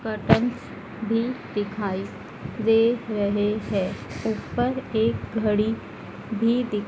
curtains भी दिखाई दे रहे हैं ऊपर एक घड़ी भी दि--